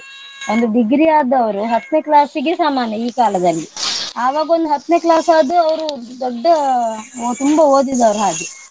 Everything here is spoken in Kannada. ಒಂದು degree ಆದವರು ಹತ್ನೇ class ಗೆ ಸಮಾನ ಈ ಕಾಲದಲ್ಲಿ ಆವಾಗೊಂದ್ ಹತ್ನೇ class ಆದ್ರೆ ಅವ್ರು ದೊಡ್ಡ ತುಂಬ ಓದಿದವರು ಹಾಗೆ.